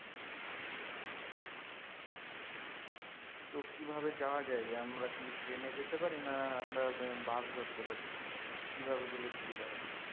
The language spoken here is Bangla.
তো কি ভাবে যাওয়া যায় আমরা কি train এ যেতে পারি না আমরা বাস ধরতে পারি কি ভাবে গেলে সুবিধা হবে?